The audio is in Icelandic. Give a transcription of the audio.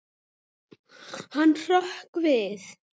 Hann hrökk við.